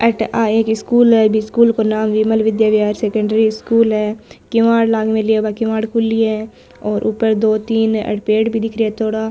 अठ आ एक स्कूल है बि स्कूल को नाम विमल विद्या विहार सेकेंडरी स्कूल है किवाड़ लाग मेला है किवाड़ खुली है और ऊपर दो तीन अठ पेड़ भी दिख रा है थोड़ा --